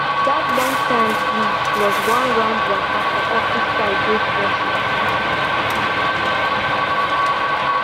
that lunchtime breeze plus one round waka for office side dey fresh and sharp